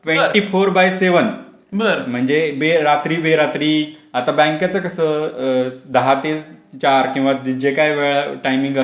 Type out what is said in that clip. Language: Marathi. ट्वेंटी फोर बाय सेव्हन म्हणजे बे रात्री बे रात्री आता बँकेचं कसं दहा ते चार किंवा जे काही टाइमिंग अस